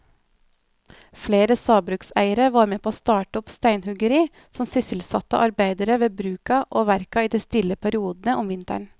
Flere sagbrukseiere var med å starte opp steinhuggeri som sysselsatte arbeidere ved bruka og verka i de stille periodene om vinteren.